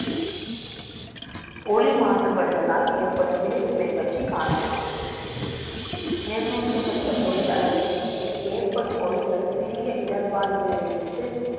ஒளி மாசுபடுதலால், ஏற்படும் விளை வுகளை பற்றி காணலாம் நிர்ணயிக்கப்பட்ட ஒளி அளவுக்கு மே ல் ஏற்படும் ஒலிகள் சிறிய இடர்பாடுகளில் இருந்து